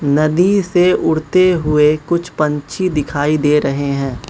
नदी से उड़ते हुए कुछ पंछी दिखाई दे रहे हैं।